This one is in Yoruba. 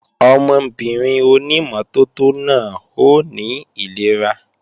Ọmọbìnrin ònímọ́tótó náà ó ní ìlera